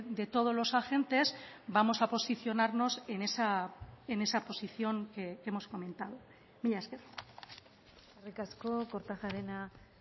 de todos los agentes vamos a posicionarnos en esa posición que hemos comentado mila esker eskerrik asko kortajarena